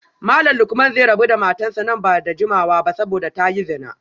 Malam Lukman zai rabu da matarsa ​​nan ba da jimawa ba saboda ta yi zina